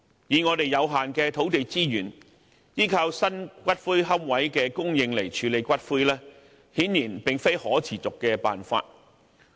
以我們有限的土地資源，依靠新骨灰龕位的供應來處理骨灰，顯然並非可持續的辦法。